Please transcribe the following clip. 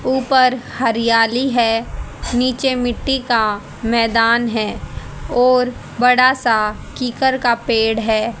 ऊपर हरियाली है नीचे मिट्टी का मैदान है और बड़ा सा कीकर का पेड़ है।